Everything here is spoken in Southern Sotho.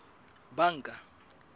banka